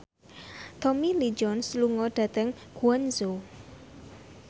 Tommy Lee Jones lunga dhateng Guangzhou